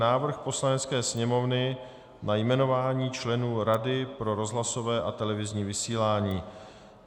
Návrh Poslanecké sněmovny na jmenování členů Rady pro rozhlasové a televizní vysílání